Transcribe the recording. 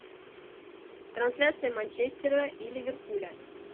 трансляция манчестера и ливерпуля